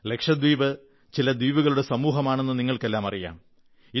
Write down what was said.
ലക്ഷദ്വീപ് ചില ദ്വീപുകളൂടെ സമൂഹമാണെന്ന് നിങ്ങൾക്കെല്ലാമറിയാം